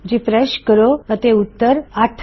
refresh ਕਰੋ ਅਤੇ ਉੱਤਰ ਹੈ 8